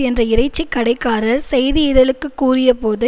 என்ற இறைச்சிக் கடைக்காரர் செய்தியிதழிற்குக் கூறியபோது